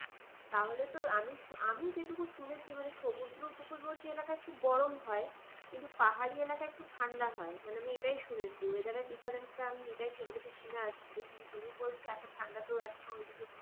তাহলে তো আমি আমি যেটুকু শুনেছি মানে সমুদ্র উপকূলবর্তী এলাকায় খুব গরম হয় কিন্তু পাহাড়ি এলাকায় একটু ঠান্ডা হয়। মানে এটাই শুনেছি, weather র difference টা আমি এটাই ছোট থেকে শুনে আসছি কিন্তু তুমি বলছো এত ঠান্ডাতেও ওদিকে এখনো